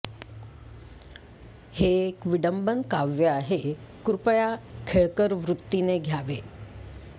हे एक विडंबन काव्य आहे कृपया खेळकर वृतीने घ्यावे